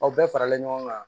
Aw bɛɛ faralen ɲɔgɔn kan